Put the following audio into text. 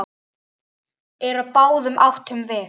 Eru á báðum áttum þið.